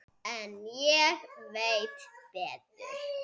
En ég veit betur.